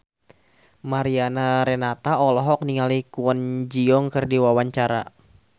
Mariana Renata olohok ningali Kwon Ji Yong keur diwawancara